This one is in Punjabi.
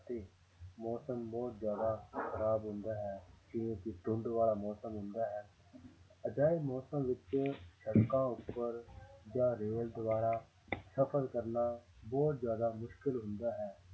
ਅਤੇ ਮੌਸਮ ਬਹੁਤ ਜ਼ਿਆਦਾ ਖ਼ਰਾਬ ਹੁੰਦਾ ਹੈ ਜਿਵੇਂ ਕਿ ਧੁੰਦ ਵਾਲਾ ਮੌਸਮ ਹੁੰਦਾ ਹੈ ਅਜਿਹੇ ਮੌਸਮ ਵਿੱਚ ਸੜਕਾਂ ਉੱਪਰ ਜਾਂ ਰੇਲ ਦੁਆਰਾ ਸਫ਼ਰ ਕਰਨਾ ਬਹੁਤ ਜ਼ਿਆਦਾ ਮੁਸ਼ਕਲ ਹੁੰਦਾ ਹੈ